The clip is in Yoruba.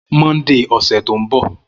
Monday ọsẹ to nbo